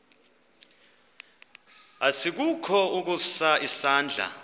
asikukho ukusa isandla